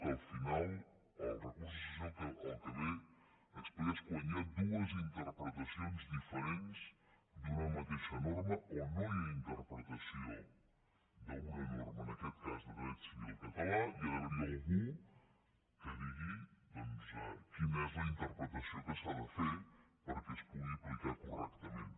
que al final el recurs de cassació el que ve a explicar és quan hi ha dues interpretacions diferents d’una mateixa norma o no hi ha interpretació d’una norma en aquest cas de dret civil català i ha d’haver hi algú que digui doncs quina és la interpretació que s’ha de fer perquè es pugui aplicar correctament